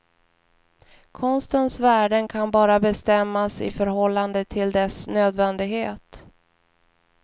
Konstens värden kan bara bestämmas i förhållande till dess nödvändighet.